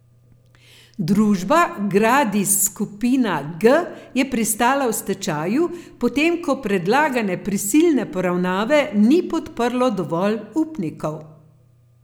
Družba Gradis Skupina G je pristala v stečaju, potem ko predlagane prisilne poravnave ni podprlo dovolj upnikov.